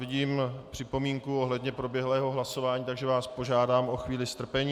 Vidím připomínku ohledně proběhlého hlasování, takže vás požádám o chvíli strpení.